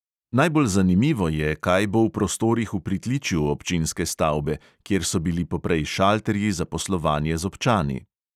Najbolj zanimivo je, kaj bo v prostorih v pritličju občinske stavbe, kjer so bili poprej šalterji za poslovanje z občani.